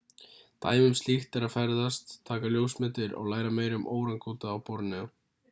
dæmi um slíkt er að ferðast taka ljósmyndir og læra meira um órangútana á borneó